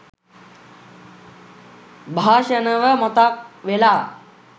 භාෂණව මතක් වෙලා